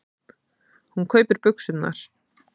Hún kaupir buxurnar.